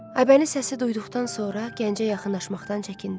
Aybəniz səsi duyduqdan sonra gəncə yaxınlaşmaqdan çəkindi.